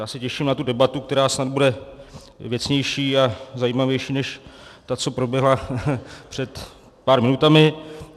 Já se těším na tu debatu, která snad bude věcnější a zajímavější než ta, co proběhla před pár minutami.